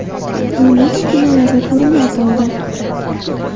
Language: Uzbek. U nega kinolarda ko‘rinmay qoldi?